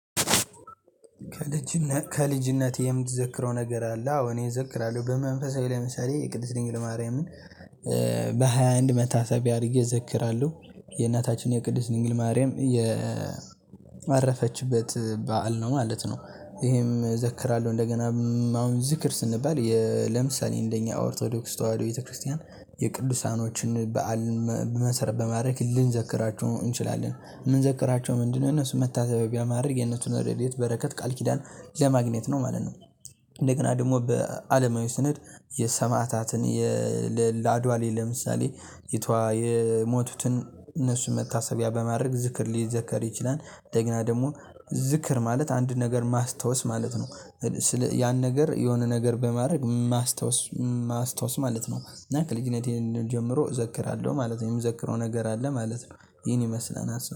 ከልጅነትህ የምትዘክረው ነገር አለ? አዎ እኔ እዘክራለሁ በመንፈሳዊ ለምሳሌ የቅድስት ድንግል ማርያምን በሃያ አንድ መታሰቢያ አድርጌ እዘክራለሁ የእናታችን የቅድስት ድንግል ማርያም የ የአረፈችበት በዓል ነው ማለት ነው። ይሄም እዘክራለሁ እንደገና አሁን ዝክር ስንባል ለምሳሌ እንደኛ ኦርቶዶክስ ተዋህዶ ቤተክርስቲያን የቅዱሳኖችን በዓል መሰረት በማድረግ ልንዘክራችሁ እንችላለን የምንዘክራቸው ምንድነው የነሱ መታዘቢያ ማድረግ የነሱን ሬድኤት በረከት ቃልኪዳን ለማግኘት ነው ማለት ነው። እንደገና ደግሞ በአለማዊ ስኔድ የሰማዕታትን የአድዋ ላይ ለምሳሌ የቷ የሞቱትን እነሱን መታሰቢያ በማድረግ ዝክር ሊዘከር ይችላል። እንደገና ደግሞ ዝክር ማለት አንድ ነገር ማስታወስ ማለት ነው። ስለ ያን ነገር የሆነ ነገር በማድረግ ማስታወስ ማስታወስ ማለት ነው። እና ከልጅነቴ ጀምሮ እዘክራለሁ ማለት ነው የምዘክረው ነገር አለ ማለት ነው። ይሄን ይመስላል